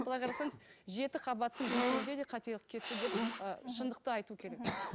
былай қарасаңыз жеті қабаттың жетеуінде де қателік кетті деп ы шындықты айту керек мхм